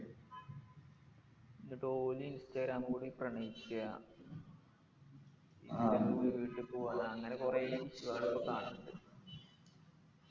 ന്നിട്ട് ഓനി ഇൻസ്റ്റഗ്രാമ്കൂടി പ്രണയിക്കാ ആഹ് വീട്ട് പോവ്വാ അങ്ങനെ കൊറേ ഇൻസ്റ്റാഗ്രാമിലൊക്കെ കാണലിണ്ട്